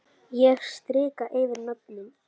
Ég strika yfir nöfnin.